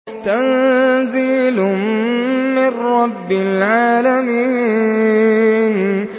تَنزِيلٌ مِّن رَّبِّ الْعَالَمِينَ